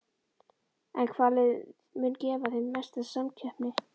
En hvaða lið munu gefa þeim mesta samkeppni?